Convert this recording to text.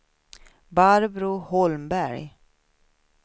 Barbro Holmberg